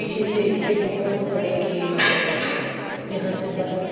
पीछे से इनके बहुत बड़े खेत जहां से बस।